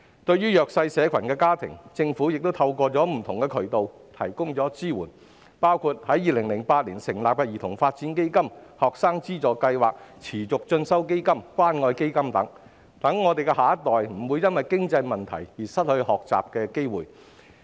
對於弱勢社群家庭，政府已透過不同渠道提供支援，包括在2008年成立的兒童發展基金、學生資助計劃、持續進修基金和關愛基金等，讓我們的下一代不會因經濟問題而失去學習機會。